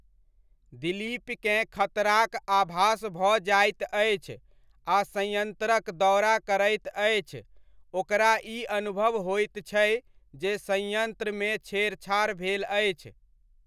दिलीपकेँ खतराक आभास भऽ जाइत अछि आ संयन्त्रक दौरा करैत अछि, ओकरा ई अनुभव होइत छै जे संयंत्र मे छेडछाड़ भेल अछि।